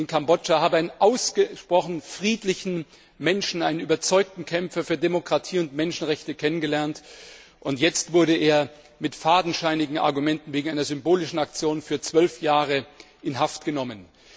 Ich habe einen ausgesprochen friedlichen Menschen, einen überzeugten Kämpfer für Demokratie und Menschenrechte kennengelernt. Und jetzt wurde er mit fadenscheinigen Argumenten wegen einer symbolischen Aktion für 12 Jahre in Haft genommen.